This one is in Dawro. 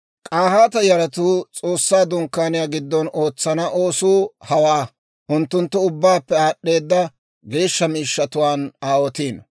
K'ahaata yaratuu S'oossaa Dunkkaaniyaa giddon ootsana oosuu hawaa: unttunttu ubbaappe aad'd'eeda geeshsha miishshatuwaan aawotiino.